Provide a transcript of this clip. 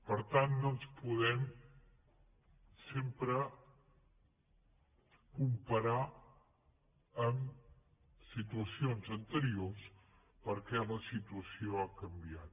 per tant no ens podem sempre comparar amb situacions anteriors perquè la situació ha canviat